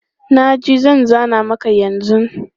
Na ji, zan zana maka yanzu.